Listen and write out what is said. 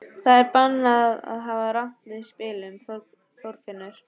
Það er bannað að hafa rangt við í spilum, Þorfinnur.